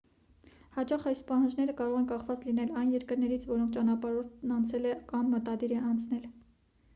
հաճախ այս պահանջները կարող են կախված լինել այն երկրներից որոնք ճանապարհորդն այցելել է կամ մտադիր է այցելել